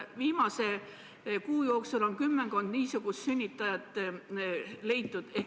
Viimase kuu jooksul on kümmekond niisugust sünnitajat leitud.